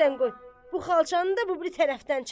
Bu xalçanı da bu biri tərəfdən çək.